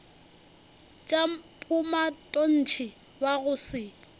tša bomatontshe ba go se